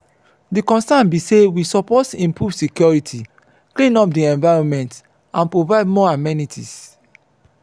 di concerns be say we suppose improve security clean up di environment and provide more amenities.